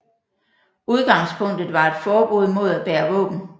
Udgangspunktet var et forbud mod at bære våben